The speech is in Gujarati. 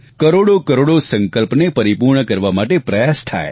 કરોડોકરોડો સંકલ્પને પરિપૂર્ણ કરવા માટે પ્રયાસ થાય